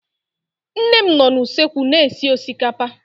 Nne m nọ na usekwu na-esi osikapa